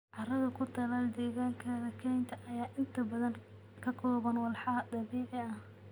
Carrada ku taal deegaanka kaynta ayaa inta badan ka kooban walxo dabiici ah.